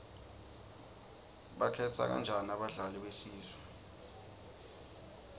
bakhetha kanjani abadlali besizwe